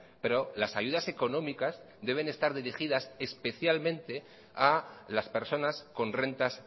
pero las ayudas económicas deben estar dirigidas especialmente a las personas con rentas